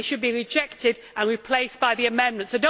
They should be rejected and replaced by the amendments.